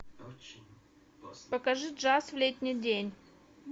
покажи джаз в летний день